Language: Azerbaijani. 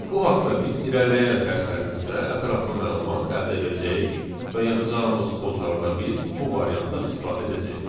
Bu haqda biz irəliləyən dərslərimizdə ətraflı məlumat əldə edəcəyik və yazacağımız kodlarda biz bu variantdan istifadə edəcəyik.